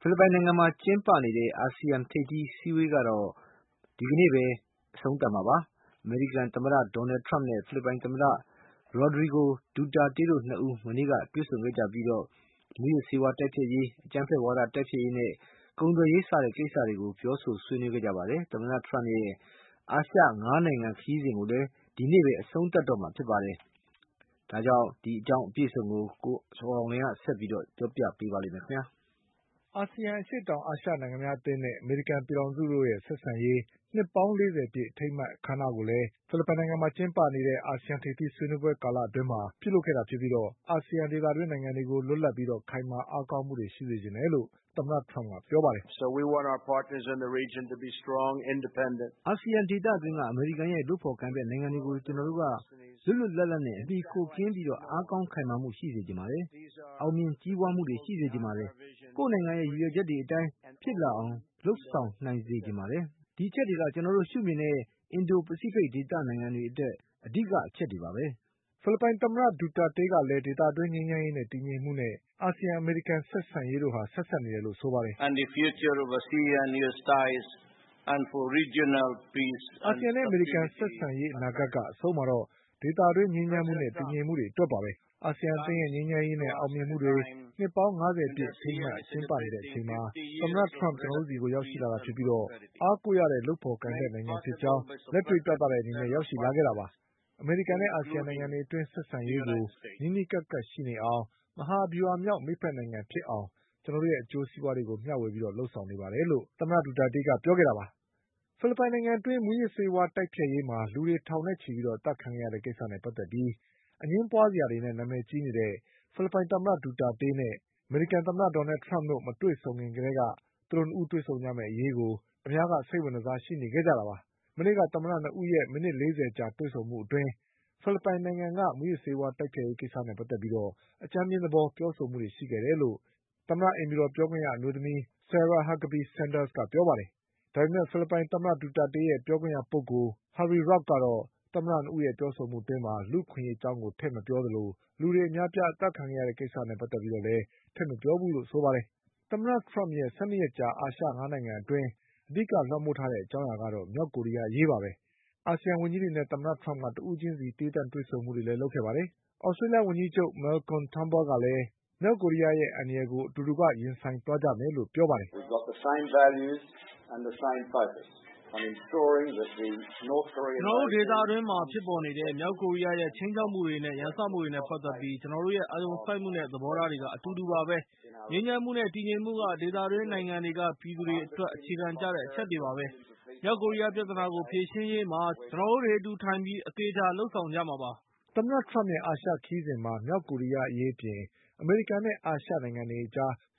ဖိလစ်ပိုင်နိုင်ငံမှာကျင်းပနေတဲ့ ASEAN ထိပ်သီးဆွေးနွေးပွဲကတော့ ဒီကနေ့ပဲအဆုံးသတ်မှာပါ။ အမေရိကန်သမ္မတ Donald Trump နဲ့ ဖိလစ်ပိုင်သမ္မတRodrigo Duterte တို့၂ဦး မနေ့က တွေ့ဆုံခဲ့ကြပြီး မူးယစ်ဆေးဝါးတိုက် ဖျက်ရေး၊ အကြမ်းဖက်ဝါဒတိုက်ဖျက်ရေးနဲ့ ကုန်သွယ်ရေးကိစ္စတွေကိုပြောဆိုခဲ့ကြပါတယ်။ သမ္မတထရမ့်ရဲ့အာရှ၅နိုင်ငံခရီးစဉ် ကိုလည်း ဒီကနေ့ပဲအဆုံးသတ်မှာပါ။ ဒီအကြောင်း ကိုကျော်အောင်လွင် ကဆက်ပြီးပြောပြပါလိမ့်မယ်။ အာဆီယံ အရှေ့တောင်အာရှနိုင်ငံများအသင်းနဲ့အမေရိကန်ပြည်ထောင်စုတို့ဆက်ဆံရေး နှစ်ပေါင်း၄၀ပြည့်အထိမ်းအမှတ် အခမ်းအနားကိုလည်း အာဆီယံထိပ်သီးဆွေးနွေးပွဲကာလအတွင်းမှာ ကျင်းပခဲ့တာဖြစ်ပြီး အာဆီယံဒေသတွင်း နိုင်ငံတွေကို လွတ်လပ်ပြီးခိုင်မာအားကောင်းမှုရှိစေချင်တယ်လို့ သမ္မတထရမ့်က ပြောခဲ့ပါတယ်။ "အာဆီယံဒေသတွင်းက အမေရိကန်ရဲ့လုပ်ဖေါ်ကိုင်ဖက်နိုင်ငံတွေကိုကျနော်တို့က လွတ်လွတ်လပ်လပ်နဲ့ အမှီအခိုကင်းပြီး အားကောင်းခိုင်မာမှုရှိစေချင်ပါတယ်။ အောင်မြင်ကြီးပွါးမှုတွေရှိစေချင်ပါတယ်။ ကိုယ့်နိုင်ငံရဲ့ရည်ရွယ်ချက်တွေအတိုင်း ဖြစ်လာအောင် လုပ်ဆောင်နိုင်စေချင်ပါတယ်။ ဒီအချက်တွေက ကျနော်တို့ရှုမြင်တဲ့ အင်ဒိုပစိဖိတ်ဒေသနိုင်တွေအတွက် အဓိကအချက်တွေပါပဲ" ဖိလစ်ပိုင်သမ္မတ ဒူတာတေးကလည်း ဒေသတွင်းငြိမ်းချမ်းရေးနဲ့တည်ငြိမ်မှုနဲ့ အာဆီယံ နဲ့အမေရိကန်ဆက်ဆံရေးတို့ ဆက်စပ်နေတယ်လို့ဆိုပါတယ်။ "အာဆီယံ နဲ့အမေရိကန်ဆက်ဆံရေးအနာဂတ်က အဆုံးမှာတော့ ဒေသတွင်းငြိမ်းချမ်းမှုနဲ့တည်ငြိမ်မှုတွေအတွက်ပါပဲ။ အာဆီယံအသင်းရဲ့ငြိမ်းချမ်းရေးနဲ့အောင်မြင်မှုတွေနှစ်ပေါင်း၅၀ပြည့် အထိမ်းအမှတ်ကျင်းပနေတဲ့အချိန်မှာ သမ္မတထရမ့် ကျနော်တို့ဆီကိုရောက်ရှိလာတာဖြစ်ပြီး အားကိုးရတဲ့လုပ်ဖေါ်ကိုင်ဖက်နိုင်ငံဖြစ်ကြောင်းလက်တွေ့ပြတဲ့အနေနဲ့ ရောက် ရှိလာတာပါ။ အမေရိကန်နဲ့အာဆီယံနိုင်ငံတွေအတွင်း ဆက်ဆံရေးကို နီးနီးကပ်ကပ်ရှိနေအောင်၊ မဟာဗျူဟာမြောက် မိတ်ဖက်နိုင်ငံဖြစ်အောင် ကျနော်တို့ရဲ့အကျိုးစီး ပွါးတွေကိုမျှဝေပြီးလုပ်ဆောင်နေပါတယ်" ဖိလစ်ပိုင်နိုင်ငံအတွင်း မူးယစ်ဆေးဝါးတိုက်ဖျက်ရေးမှာ လူတွေထောင်နဲ့ချီအသတ်ခံခဲ့ရတဲ့ကိစ္စနဲ့ပတ်သက်ပြီး အငြင်းပွါး စရာတွေနဲ့နာမည်ကြီးနေတဲ့ ဖိလစ်ပိုင်သမ္မတ ဒူတာတေးနဲ့အမေရိကန်သမ္မတဒေါ်နလ်ထရမ့် တို့မတွေ့ဆုံခင် ကတည်းက သူတို့၂ဦးတွေ့ဆုံကြမယ့်အရေးကို အများက စိတ်ဝင်တစားရှိနေခဲ့ကြတာပါ။ မနေ့ကသမ္မတ၂ဦးရဲ့ မိနစ် လေးဆယ်ကြာတွေ့ဆုံမှုအတွင်းမှာတော့ ဖိလစ်ပိုင်နိုင်ငံက မူယစ်ဆေးဝါးတိုက်ဖျက်ရေးကိစ္စနဲ့ပတ်သက်ပြီး အကြမ်းဖျဉ်းသဘောပြောဆိုမှုရှိခဲ့တယ်လို့ အိမ်ဖြူတော်ပြောခွင့်ရ အမျိုးသမီး ဆာရာ ဟတ်ကဘီ ဆန်ဒါးစ်ကပြောပါတယ်။ ဖိလစ်ပိုင်သမ္မတဒူတာတေးရဲ့ ပြောခွင့်ရပုဂ္ဂိုလ် Harry Roque ကတော့ သမ္မတ၂ဦးရဲ့ပြောဆိုမှုအတွင်း လူ့အခွင့် အရေးအကြောင်းကိုထည့်မပြောသလို လူတွေအများအပြားအသတ်ခံခဲ့ရတဲ့ကိစ္စကိုလည်း ထည့်မပြောခဲ့ဘူးလို့ဆိုပါ တယ်။ သမ္မတထရမ့်ရဲ့ ၁၂ရက်ကြာ အာရှ၅နိုင်ငံအတွင်းမှာ အဓိကလွှမ်မိုးထားတဲ့အကြောင်းအရာကတော့ မြောက်ကိုရီးယား အရေးပါပဲ။ အာဆီယံ ဝန်ကြီးတွေနဲ့လည်း သမ္မတထရမ့်က တဦးချင်းစီသီးသန့်တွေ့ဆုံပြောဆိုမှုတွေလုပ်ခဲ့တာပါ။ သြ စတေးလျှဝန်ကြီးချုပ် Malcom Turnbull ကလည်း မြောက်ကိုရီးယားအန္တရာယ်ကိုအတူတကွရင်ဆိုင်သွားမယ်လို့ပြော ပါတယ်။ "ကျနော်တို့ဒေသအတွင်းမှာဖြစ်ပေါ်နေတဲ့ မြောက်ကိုရီးယားရဲ့ ခြိမ်းခြောက်မှုတွေနဲ့ရန်စမှုတွေနဲ့ပတ်သက်ပြီး ကျနော် တို့ရဲ့ အာရုံစိုက်မှုနဲ့သဘောထားတွေက အတူတူပါပဲ။ ငြိမ်းချမ်းမှုနဲ့တည်ငြိမ်မှုက ဒေသတွင်းနိုင်ငံတွေက ပြည်သူတွေ အတွက် အခြေခံကျတဲ့အချက်တွေပါပဲ။ မြောက်ကိုရီးယားပြဿနာကိုဖြေရှင်းရေးမှာ ကျနော်တို့တွေအတူဝိုင်းပြီး အသေ အချာလုပ်ဆောင်ကြမှာပါ" သမ္မထရမ့်ရဲ့ အာရှခရီးစဉ်မှာ မြောက်ကိုရီးယားအရေးအပြင် အမေရိကန်နဲ့အာရှ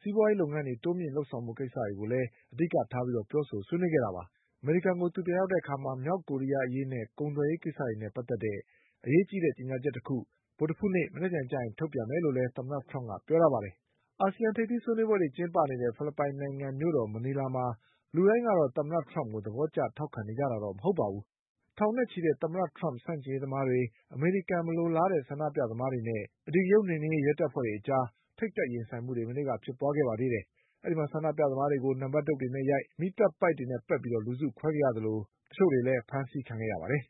စီးပွါးရေးတိုးမြင့်လုပ်ဆောင်ဖို့ကိစ္စတွေ ကိုလည်း အဓိကထား ပြောဆိုဆွေးနွေးခဲ့ကြတာပါ။ အမေရိကန်ကိုပြန်ရောက်တဲ့အခါ မြောက်ကိုရီးယားအရေးနဲ့ ကုန်သွယ်ရေးကိစ္စတွေနဲ့ပတ်သက်တဲ့ အရေးကြီးတဲ့ကြေညာချက်တခုကို ဗုဒ္ဓဟူးနေ့ မနက်ဖြန်ကျရင်ထုတ်ပြန်လိမ့်မယ် လို့လည်း သမ္မတထရမ့်ကပြောပါတယ်။ အာဆီယံထိပ်သီးဆွေးနွေးပွဲတွေကျင်းပနေတဲ့ ဖိလစ်ပိုင်နိုင်ငံမြို့တော်မနီလာမှာ လူတိုင်းကတော့ သမ္မတထရမ့်ကို သဘော ကျထောက်ခံနေကြတာတော့မဟုတ်ပါဘူး။ ထောင်နဲ့ချီတဲ့ သမ္မတထရမ့်ဆန့်ကျင်ရေးသမားတွေ၊ အမေရိကန်မလိုလား တဲ့ဆန္ဒပြသမားတွေနဲ့ အဓိကရုဏ်းနှိမ်နင်းရေးရဲတပ်ဖွဲ့တွေအကြား ထိပ်တိုက်ရင်ဆိုင်မှုတွေမနေ့ကဖြစ်ပွါးခဲ့ပါသေး တယ်။ ဆန္ဒပြသမားတွေကို နံပတ်ဒုတ်တွေနဲရိုက်၊ မီးသတ်ပိုက်နဲ့ပက်ပြီး လူစုခွဲခဲ့ရသလို တချို့ကိုလည်းရဲ့တွေကဖမ်းဆီး ခဲ့ပါတယ်